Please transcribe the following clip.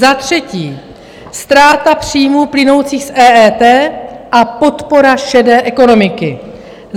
Za třetí, ztráta příjmů plynoucích z EET a podpora šedé ekonomiky.